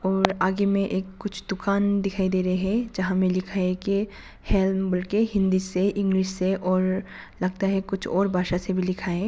और आगे में एक कुछ दुकान दिखाई दे रहे है जहां में लिखा है हेलम बोल के हिंदी से इंग्लिश से और लगता है कुछ और भाषा से लिखा है।